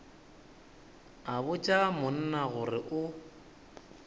a botša monna gore o